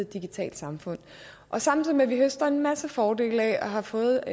digitalt samfund og samtidig med at vi høster en masse fordele af at have fået